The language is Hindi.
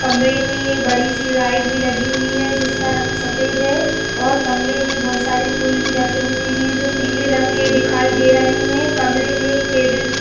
कमरे में एक बड़ी सी लाइट भी लगी हुई है जिसका रंग सफ़ेद है और कमरे में बहोत सारे फूल भी रखे हुए हैं जो पीले रंग के दिखाई दे रहे हैं। कमरे में एक टेबल भी --